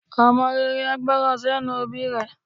Ọmọ rere a gbọ́nran sẹ́nu òbí rẹ̀.